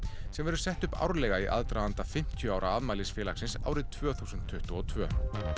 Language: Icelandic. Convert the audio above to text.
sem verður sett upp árlega í aðdraganda fimmtíu ára afmæli félagsins árið tvö þúsund tuttugu og tvö